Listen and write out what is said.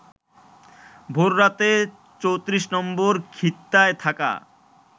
ভোর রাতে ৩৪ নম্বর খিত্তায় থাকা